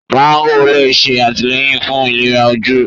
mágò lè ṣe àtìlẹ́yìn fún ìléra ojú.